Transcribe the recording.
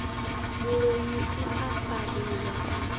muloi u a fariwa a